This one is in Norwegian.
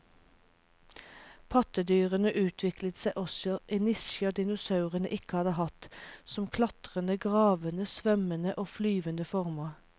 Pattedyrene utviklet seg også i nisjer dinosaurene ikke hadde hatt, som klatrende, gravende, svømmende og flyvende former.